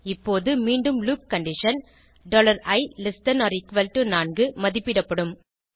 இப்போது மீண்டும் loop condition i4 மதிப்பிடப்படும்